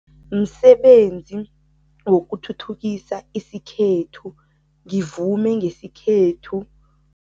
Msebenzi wokuthuthukisa isikhethu, ngivume ngesikhethu.